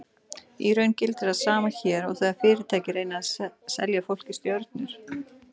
Í raun gildir það sama hér og þegar fyrirtæki reyna að selja fólki stjörnur.